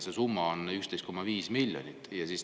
See summa on 11,5 miljonit.